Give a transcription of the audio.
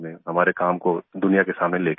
हमारे काम को दुनिया के सामने ले के आये